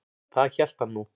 Það hélt hann nú.